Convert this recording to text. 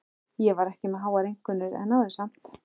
Ég var ekki með háar einkunnir en náði samt.